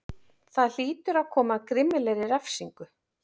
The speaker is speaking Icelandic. Það hlýtur að koma að grimmilegri refsingu.